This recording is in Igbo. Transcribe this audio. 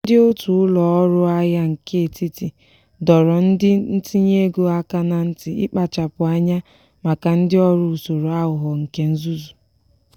ndị otu ụlọ ọrụ ahịa nke etiti doro ndị ntinye ego aka na nti ikpachapụ anya maka ndị ọrụ usoro aghụghọ nke nzuzu.